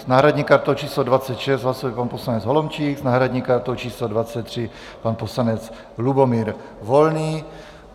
S náhradní kartou číslo 26 hlasuje pan poslanec Holomčík, s náhradní kartou číslo 23 pan poslanec Lubomír Volný.